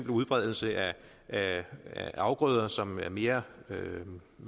udbredelse af af afgrøder som er mere